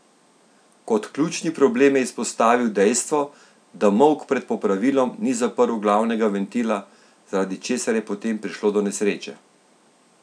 Kot ključni problem je izpostavil dejstvo, da Molk pred popravilom ni zaprl glavnega ventila, zaradi česar je potem prišlo do nesreče.